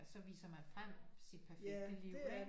Så viser man frem sit perfekte liv ikke